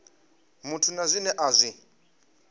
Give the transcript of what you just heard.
muthu na zwine a zwi